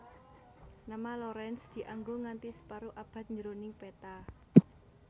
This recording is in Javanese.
Nama Lorentz dianggo nganthi separo abad jroning peta